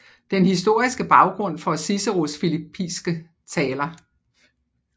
Den historiske Baggrund for Ciceros filippiske Taler